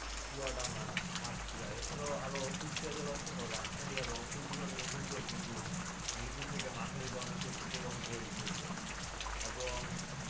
চুয়াডাঙ্গা সাতক্ষীরা এছাড়া আরো কুষ্টিয়া জেলা সহ রাজশাহী আর রংপুর বিভাগের উপরদিয়ে কিন্তু মৃদু থেকে মাঝারি ধরনের শৈত্যপ্রবাহ বয়ে গিয়েছে।